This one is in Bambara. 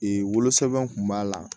wolosɛbɛn kun b'a la